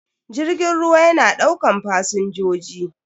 Jirgin ruwa yana daukan fasinjoji.